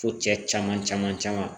Fo cɛ caman caman caman